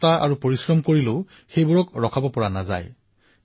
যিবোৰ বস্তু অধিক বৃদ্ধি হয় অধিক প্ৰসাৰিত হয় তাক প্ৰতিৰোধ কৰা কঠিন হৈ পৰে